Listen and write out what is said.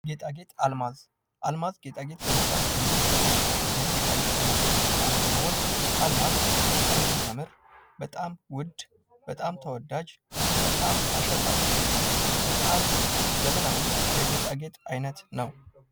ጌጣጌጥ ። አልማዝ ፡ አልማዝ ጌጣጌጥ ለመስራት ከምንጠቀምበት ወይም ከጌጣጌጥ አይነቶች ውስጥ አንዱ ሲሆን አልማዝ በጣም የሚያምር በጣም ውድ በጣም ተወዳጅ በጣም አሸብራቂ በጣም ዘመናዊ የጌጣጌጥ አይነት ነው ።